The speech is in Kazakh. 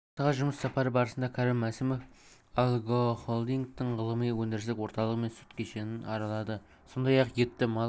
алматыға жұмыс сапары барысында кәрім мәсімов агрохолдингтің ғылыми-өндірістік орталығы мен сүт кешенін аралады сондай-ақ етті мал